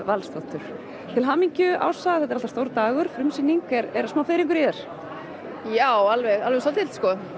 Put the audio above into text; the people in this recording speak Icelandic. Valsdóttur til hamingju Ása þetta er alltaf stór dagur frumsýning er smá fiðringur í þér já alveg alveg svolítill